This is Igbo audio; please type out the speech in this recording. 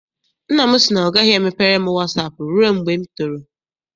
Nna m sị na ọ gaghị emepere m wasaapụ rụe mgbe m toro.